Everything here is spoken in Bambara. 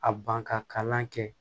A ban ka kalan kɛ